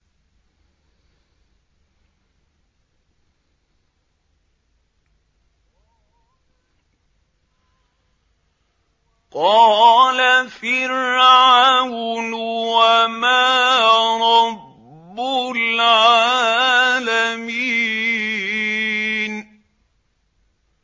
قَالَ فِرْعَوْنُ وَمَا رَبُّ الْعَالَمِينَ